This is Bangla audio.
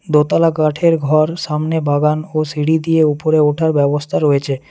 দোতলা কাঠের ঘর সামনে বাগান ও সিঁড়ি দিয়ে ওপরে ওঠার ব্যবস্থা রয়েছে।